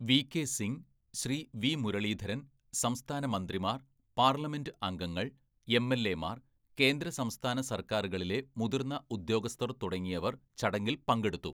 V K Singh, Shri V Muraleedharan, സംസ്ഥാന മന്ത്രിമാർ, parliament അംഗങ്ങൾ, എംഎൽഎമാർ, കേന്ദ്ര സംസ്ഥാന സർക്കാരുകളിലെ മുതിർന്ന ഉദ്യോഗസ്ഥർ തുടങ്ങിയവർ ചടങ്ങിൽ പങ്കെടുത്തു.